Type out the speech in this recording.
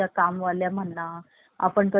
आपण कधी घरात असतो नसतो